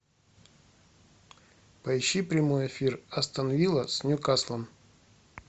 поищи прямой эфир астон вилла с ньюкаслом